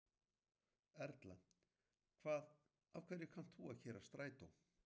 Erla: Hvað af hverju kannt þú að keyra strætó?